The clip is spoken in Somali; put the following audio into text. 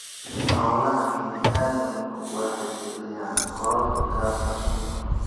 Hawlaha bini�aadamku waxay kiciyaan kororka gaaska sunta.